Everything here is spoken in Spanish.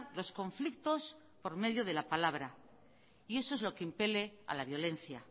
los conflictos por medio de la palabra y eso es lo que impele a la violencia